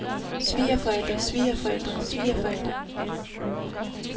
svigerforældre svigerforældre svigerforældre